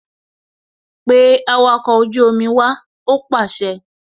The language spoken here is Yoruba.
Pe awakọ̀ ojú omi wá! Ó pàṣẹ